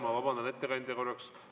Ma vabandan, ettekandja, korraks.